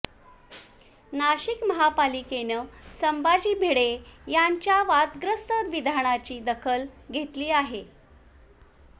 नाशिक महापालिकेनं संभाजी भिडे यांच्या वादग्रस्त विधानाची दखल घेतली आहे